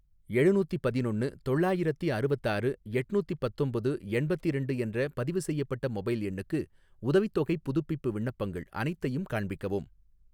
எழுநூத்தி பதினொன்னு தொள்ளாயிரத்தி அறுவத்தாறு எட்நூத்தி பத்தொம்போது எண்பத்திரண்டு என்ற பதிவுசெய்யப்பட்ட மொபைல் எண்ணுக்கு, உதவித்தொகைப் புதுப்பிப்பு விண்ணப்பங்கள் அனைத்தையும் காண்பிக்கவும்.